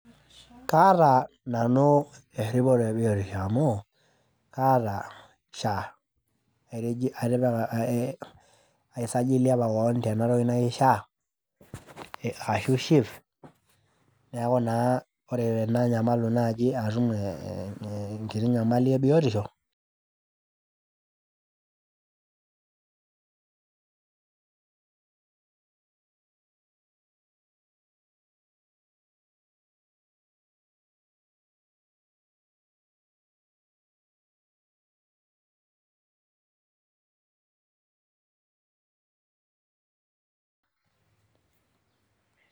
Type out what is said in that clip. Kaata nanu eripoto ebiotisho amu kaata SHA , etiji, atipika, aisajili apa kewon tena toki naji SHA ashu SHIF ,niaku naa ore tenanyamalu nai atum enkiti nyamali ebiotisho